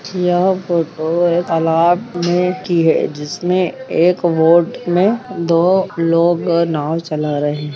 यह फोटो एक तालाब मे की है जिसमे एक बोट में दो लोग अ नाव चला रहे है।